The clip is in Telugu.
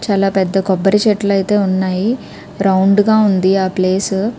చాలా పెద్ద కొబ్బరి చెట్లైతే ఉన్నాయి. రౌండ్ గ ఉంది ఆ ప్లేస్ .